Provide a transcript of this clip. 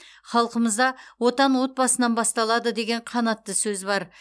халқымызда отан отбасынан басталады деген қанатты сөз бар